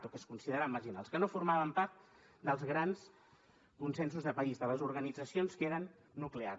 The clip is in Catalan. o que es consideraven marginals que no formaven part dels grans consensos de país de les organitzacions que eren nuclears